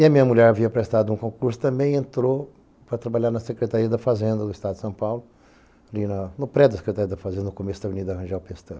E a minha mulher havia prestado um concurso também e entrou para trabalhar na Secretaria da Fazenda do Estado de São Paulo, ali no predio da Secretaria da Fazenda, no começo da Avenida Rangel Pestana.